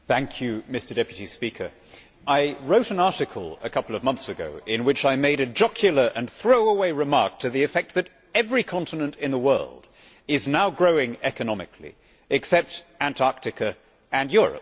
Mr President, I wrote an article a couple of months ago in which I made a jocular and throw away remark to the effect that every continent in the world is now growing economically, except Antarctica and Europe.